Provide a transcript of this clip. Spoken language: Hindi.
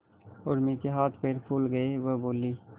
उर्मी के हाथ पैर फूल गए वह बोली